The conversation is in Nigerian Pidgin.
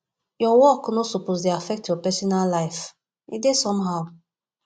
your work no suppose dey affect your personal life e dey somehow